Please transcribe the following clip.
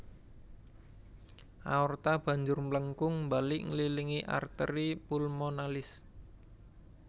Aorta banjur mlengkung balik ngililingi arteri pulmonalis